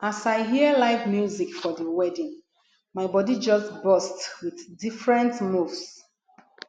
as i hear live music for di wedding my bodi just burst wit different moves